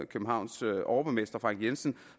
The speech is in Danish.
københavns overborgmester frank jensen